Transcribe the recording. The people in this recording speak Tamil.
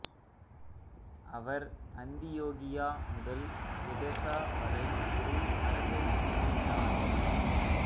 அவர் அந்தியோகியா முதல் எடெசா வரை ஒரு அரசை நிறுவினார்